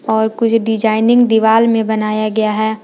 और कुछ डिजाइनिंग दीवाल में बनाया गया है।